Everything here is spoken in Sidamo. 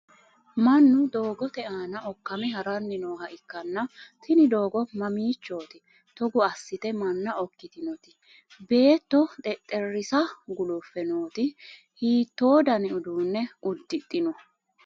mannu doogote aana okkame haranni nooha ikkanna' tini doogo mamiichooti togo assite manna okkitinoti? beetto xexxerisa gulufe nooti hiitto dani uduunne uddidhino?